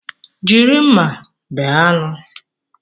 Jiri mma bee anụ.